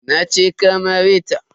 Nace ka mare ta.